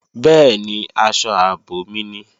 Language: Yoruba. Bẹ́ẹ̀ni, aṣọ ààbò mi ni